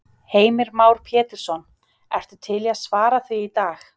Heimir Már Pétursson: Ertu til í að svara því í dag?